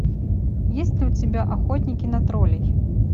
есть ли у тебя охотники на троллей